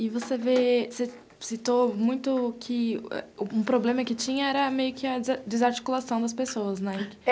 E você citou muito que um problema que tinha era meio que a desarticulação das pessoas, né?